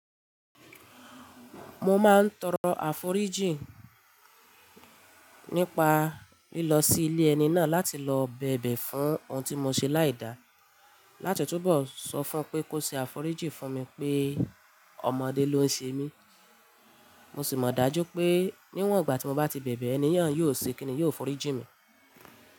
Mo máa ń tọrọ àforíjì nípa lílọ sí ilé ẹni náà láti lọ bẹ̀bẹ̀ fún ohun tí mo ṣe láìda. Láti ọ̀túbọ̀ sọ fún pé kó ṣe àforíjì fún mi pé ọmọdé ló ń ṣemi. Mo sì mọ̀ dájú pé níwọ̀n ìgbà tí mo bá ti bẹ̀bẹ̀, ènìyàn yóò ṣe kín ni yóò forí jìn mi.